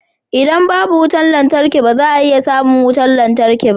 Idan babu wutar lantarki ba za a iya samun wutar lantarki ba